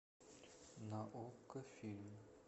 на окко фильм